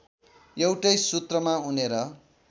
एउटै सूत्रमा उनेर